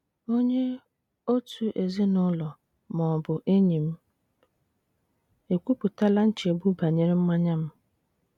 Onye òtù ezinụlọ ma ọ bụ enyi m ekwupụtala nchegbu banyere mmanya m?